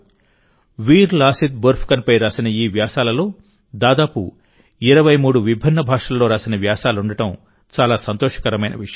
వీర్ లాసిత్ బోర్ఫుకన్ పై రాసిన ఈ వ్యాసాలలో దాదాపు 23 విభిన్న భాషల్లో రాసిన వ్యాసాలుండడం చాలా సంతోషకరమైన విషయం